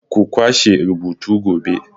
Ku kwashe rubutu gobe!